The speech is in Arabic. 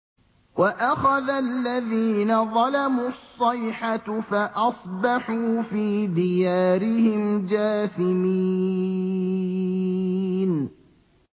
وَأَخَذَ الَّذِينَ ظَلَمُوا الصَّيْحَةُ فَأَصْبَحُوا فِي دِيَارِهِمْ جَاثِمِينَ